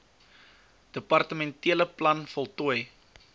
departementele plan voltooi